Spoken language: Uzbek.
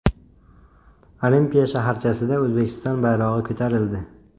Olimpiya shaharchasida O‘zbekiston bayrog‘i ko‘tarildi.